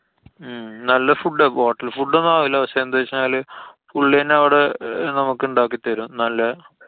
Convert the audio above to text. ഹും നല്ല food ആ. hotel food ഒന്നും അവൂല. പക്ഷെ എന്താന്നുവച്ചു കഴിഞ്ഞാല് പുള്ല്യന്നെ അവടെ നമുക്ക് ഇണ്ടാക്കി തരും. നല്ല